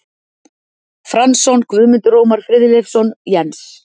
Franzson, Guðmundur Ómar Friðleifsson, Jens